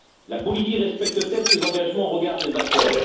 La Bolivie respecte t elle ses engagements au regard des accords?